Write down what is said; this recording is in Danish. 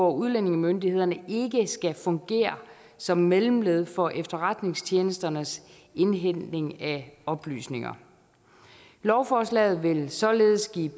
at udlændingemyndighederne ikke skal fungere som mellemled for efterretningstjenesternes indhentning af oplysninger lovforslaget vil således give